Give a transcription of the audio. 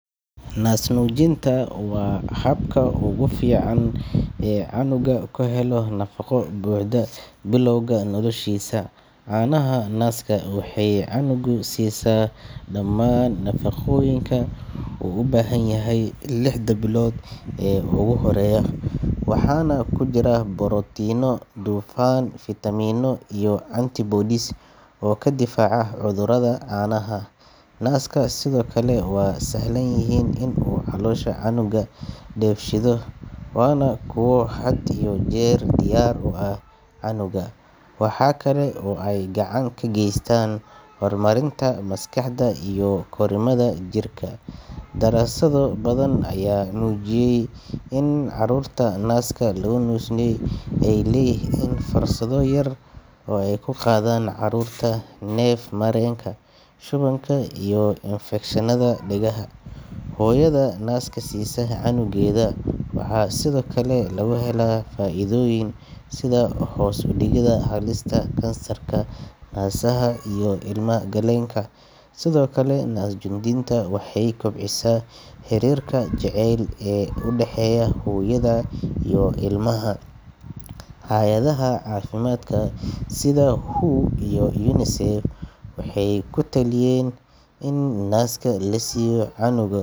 Naasnuujintu waa habka ugu fiican ee cunuga ku helo nafaqo buuxda bilowga noloshiisa. Caanaha naaska waxay cunuga siisaa dhammaan nafaqooyinka uu u baahan yahay lixda bilood ee ugu horreeya, waxaana ku jira borotiinno, dufan, fiitamiino iyo antibodies oo ka difaaca cudurrada. Caanaha naaska sidoo kale waa sahlan yihiin in uu caloosha cunuga dheefshiido, waana kuwo had iyo jeer diyaar u ah cunuga. Waxa kale oo ay gacan ka geystaan horumarinta maskaxda iyo korriimada jirka. Daraasado badan ayaa muujiyay in carruurta naaska lagu naasnuujiyay ay leeyihiin fursado yar oo ay ku qaadaan cudurrada neef-mareenka, shubanka, iyo infekshannada dhegaha. Hooyada naaska siisa cunugeeda waxaa sidoo kale laga helaa faa’iidooyin, sida hoos u dhigidda halista kansarka naasaha iyo ilma-galeenka. Sidoo kale, naasnuujintu waxay kobcisaa xiriirka jacayl ee u dhexeeya hooyada iyo ilmaheeda. Hay’adaha caafimaadka sida WHO iyo UNICEF waxay ku taliyeen in naaska la siiyo cunuga.